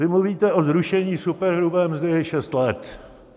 Vy mluvíte o zrušení superhrubé mzdy šest let.